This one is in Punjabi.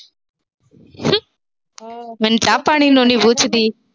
ਮੈਨੂੰ ਚਾਹ-ਪਾਣੀ ਨੂੰ ਨੀ ਪੁੱਛਦੀ।